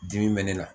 Dimi bɛ ne la